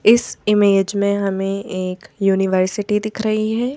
इस इमेज में हमें एक यूनिवर्सिटी दिख रही है।